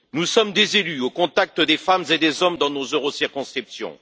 Nous sommes des élus au contact des femmes et des hommes dans nos eurocirconscriptions.